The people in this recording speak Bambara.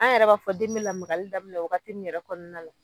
An yɛrɛ b'a fɔ den be lamagali daminɛ wagati min yɛrɛ kɔɔna la